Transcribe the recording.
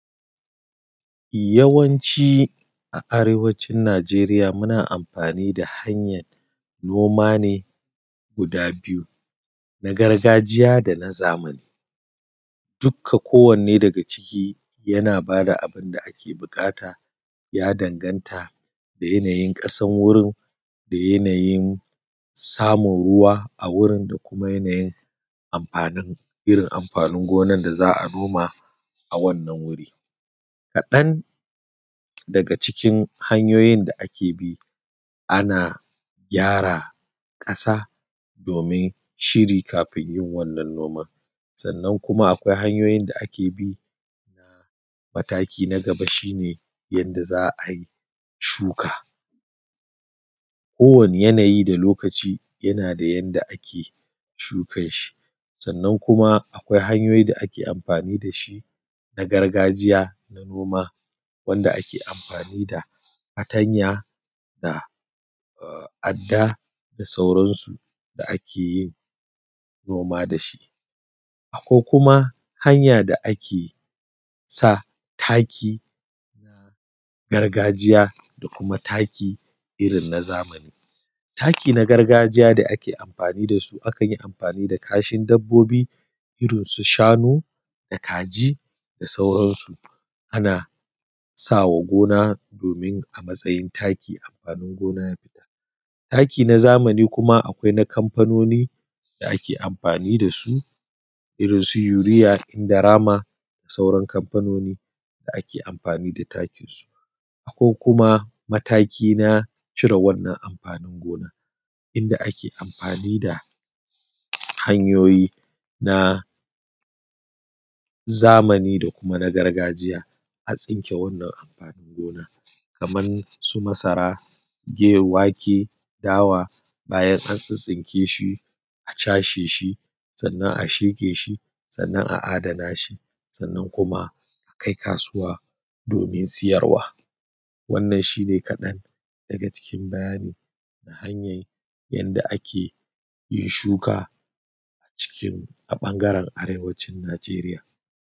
Yawanci a Arewacin Nijeriya muna amafani da hanyar noma ne guda biyu. Na gargajiya dana zamani ta kowanne daga ciki yana ba da abun da ake buƙata ya danganta da yanayin ƙasar da samun ruwa a wurin da yanayi amafanin gonar da za a noma a wannan wuri. Kaɗan daga cikin hanyoyin da ake bi ana gyara ƙasa domin shiri kafin yin wannan nomar. Sannan kuma akwai hanyoyin da ake bi na mataki kamar yadda za a ayi shuka, kowane yanayi da lokaci yana da yadda ake shukan shi. Sannan kuma akwai hanyoyin da ake amfani da shi na gargajiya da noma wanda ake amfani da fatanya da adda da sauransu da ake yin noma da shi. Akwai kuma hanya da ake noma da shi, akwainkuma hanya da ake sa taki na gargajiya da kuma irin na zamani. Taki irin na gargajiya da ake amfanin da sua akan yi amfani da kashin dabbobi irisu shanunda kaji da sauransu ana sama gona da sai amfanin gona ya fita. Taki na zamani kuma akwai na kamfanoni da ake amfani da su irinsu Urea da Indorama da sauran kamfanini da ake amfani da su. Akwai kuma mataki na cire wannan amfani gonar inda ake amfani da hanyoyi na zamani da na gargajiya a tsinke wannan amfani din kamar su masara, wake ,dawa bayan an tsintsinke shi a cashe sannan a sheke shi sannan a adana shi sannnan kuma a kai kasuwa domin sayarwa. Wannan shi ne kaɗan daga cikin hanyan yadda ake shuka a cikin a ɓangare Arewacin Nijeriya.